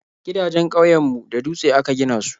Gidajen ƙauyen mu da dutse aka gina su